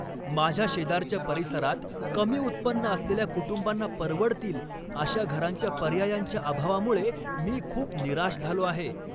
माझ्या शेजारच्या परिसरात कमी उत्पन्न असलेल्या कुटुंबांना परवडतील अशा घरांच्या पर्यायांच्या अभावामुळे मी खूप निराश झालो आहे.